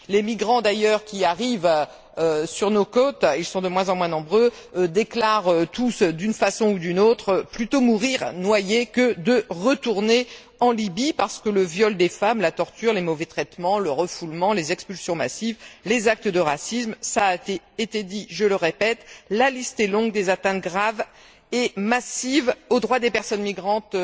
Les migrants d'ailleurs, qui arrivent sur nos côtes, et ils sont de moins en moins nombreux, déclarent tous d'une façon ou d'une autre Plutôt mourir noyés que de retourner en Libye, à cause du viol des femmes, de la torture, des mauvais traitements, du refoulement, des expulsions massives, des actes de racisme. Cela a été dit, je le répète, la liste est longue des atteintes graves et massives aux droits des personnes migrantes